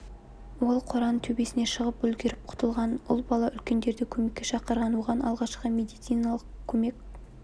ол қораның төбесіне шығып үлгеріп құтылған ұл бала үлкендерді көмекке шақырған оған алғашқы медициналық көмек